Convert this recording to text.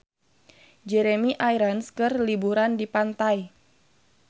Jeremy Irons keur liburan di pantai